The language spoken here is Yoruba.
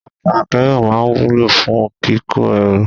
Ọkọ̀ akẹ́rù máa ń wúlò fún kíkó ẹrù.